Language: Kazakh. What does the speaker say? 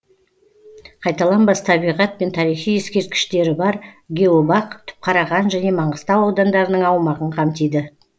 қайталанбас табиғат пен тарихи ескерткіштері бар геобақ түпқараған және маңғыстау аудандарының аумағын қамтиды